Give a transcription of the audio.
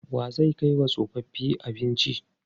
Wa zai kai wa tsofaffi abinci?